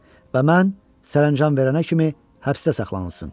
Və mən sərəncam verənə kimi həbsdə saxlansın.